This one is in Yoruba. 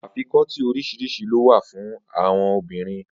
Afikọ́tí oríṣiríṣi ló wà fun àon obìnrin.